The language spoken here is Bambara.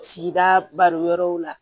Sigida balo yɔrɔw la